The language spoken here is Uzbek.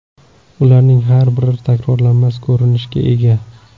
Ularning har biri takrorlanmas ko‘rinishga ega.